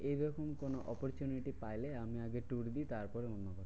এইরকম কোনো opportunity পাইলে আমি আগে tour দিই তারপরে অন্য কাজ।